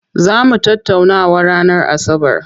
Zaa mu tattaunawa ranar asabar.